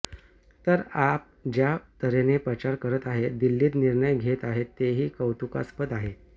तर आप ज्या तऱ्हेने प्रचार करत आहे दिल्लीत निर्णय घेत आहे तेही कौतुकास्पद आहे